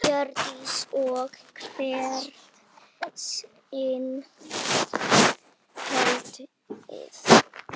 Hjördís: Og hvert skal haldið?